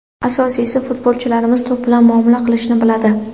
Asosiysi, futbolchilaringiz to‘p bilan muomala qilishni biladi.